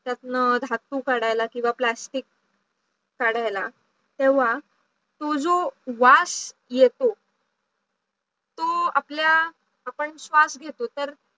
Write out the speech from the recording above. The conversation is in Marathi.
त्यातनं धातू काढायला किंवा plastic काढायला तेव्हा तो जो वास येतो तो आपल्या आपण श्वास घेतो तर